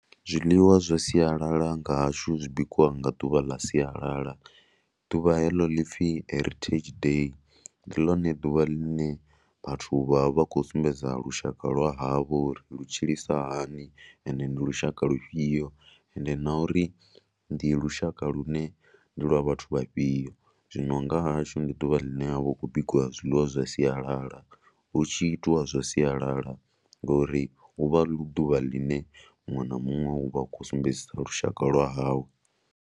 Zwiḽiwa zwa sialala nga hashu zwi bikiwa nga ḓuvha ḽa sialala, ḓuvha heḽo ḽi pfhi Heritage Day. Ndi ḽone ḓuvha ḽine vhathu vha vha vha khou sumbedza lushaka lwa havho uri lu tshilisa hani ande ndi lushaka lufhio ende na uri ndi lushaka lune ndi lwa vhathu vhafhio. Zwino nga hashu ndi ḓuvha ḽine ha vha hu khou bikiwa zwiḽiwa zwa sialala. Hu tshi itiwa zwa sialala ngori hu vha hu ḓuvha ḽine muṅwe na muṅwe u vha a khou sumbedzisa lushaka lwa hawe.